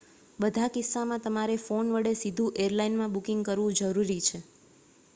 બધા કિસ્સામાં તમારે ફોન વડે સીધું એરલાઇનમાં બુકિંગ કરવું જરૂરી છે